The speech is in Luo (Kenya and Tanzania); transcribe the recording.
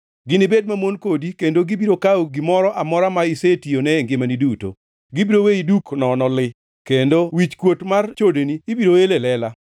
Ginibed mamon kodi kendo gibiro kawo gimoro amora ma isetiyone e ngimani duto. Gibiro weyi duk nono li, kendo wichkuot mar chodeni ibiro el e lela.